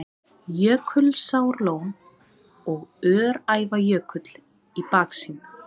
Jökulsárlón og Öræfajökull í baksýn.